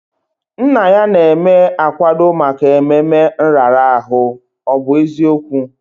Nna ya na-eme akwado maka ememe nrara ahụ, ọ bụ eziokwu?